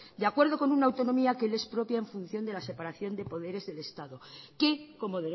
de acuerdo con una autonomía que les expropian en función de la separación de poderes del estado que como